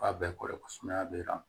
A bɛɛ kɔrɔ ye ko sumaya bɛ